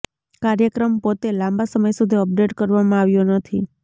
કાર્યક્રમ પોતે લાંબા સમય સુધી અપડેટ કરવામાં આવ્યો નથી